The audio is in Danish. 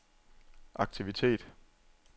aktivitet